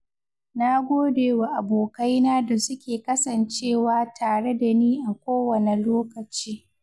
Na gode wa abokaina da suke kasancewa tare da ni a kowane lokaci.